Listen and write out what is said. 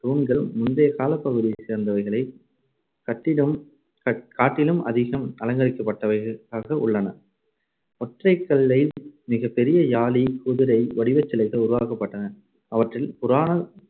தூண்கள் முந்தைய காலப்பகுதியைச் சேர்ந்தவைகளைக் கட்டிலும்~காட்டிலும் அதிகம் அலங்கரிக்கப்பட்டவைகளாக உள்ளன. ஒற்றைக்கல்லில் மிகப்பெரிய யாளி, குதிரை வடிவச்சிலைகள் உருவாக்கப்பட்டன. அவற்றில் புராண